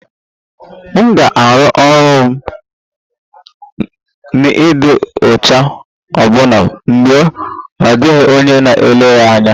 M ga-arụ ọrụ m n'ịdị uchu ọbụna mgbe ọ dịghị onye na-ele anya